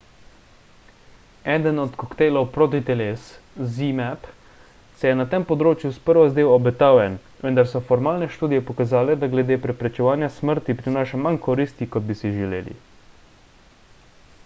eden od koktejlov protiteles zmapp se je na tem področju sprva zdel obetaven vendar so formalne študije pokazale da glede preprečevanja smrti prinaša manj koristi kot bi si želeli